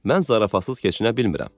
Mən zarafatsız keçinə bilmirəm.